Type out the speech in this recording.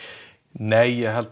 nei ég held